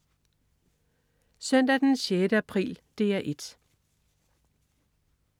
Søndag den 6. april - DR 1: